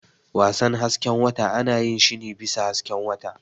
Wasan hasken wata ana yin shi ne bisa hasken wata.